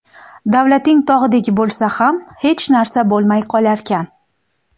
Davlating tog‘dek bo‘lsa ham hech narsa bo‘lmay qolarkan.